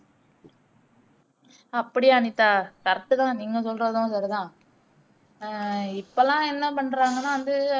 அப்படியா அனிதா correct தான் நீங்க சொல்றதும் சரிதான் ஆஹ் இப்போலாம் என்னபண்றாங்கன்னா வந்து